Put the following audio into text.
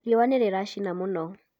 riua nĩliracina mũno